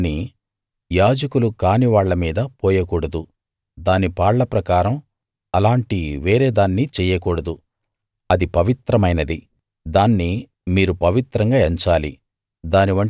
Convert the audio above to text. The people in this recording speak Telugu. దాన్ని యాజకులు కాని వాళ్ళ మీద పోయకూడదు దాని పాళ్ళ ప్రకారం అలాంటి వేరే దాన్ని చెయ్యకూడదు అది పవిత్రమైనది దాన్ని మీరు పవిత్రంగా ఎంచాలి